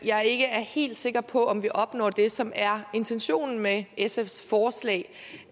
jeg ikke er helt sikker på at vi opnår det som er intentionen med sfs forslag